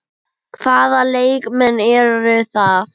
Hvaða leikmenn eru það?